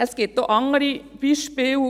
Es gibt auch andere Beispiele: